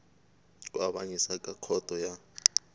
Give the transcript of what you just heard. ku avanyisa ka khoto ya